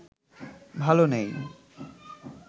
ভালো নেই